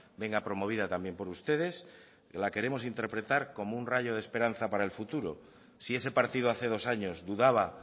venga promovida también por ustedes la queremos interpretar como un rayo de esperanza para el futuro si ese partido hace dos años dudaba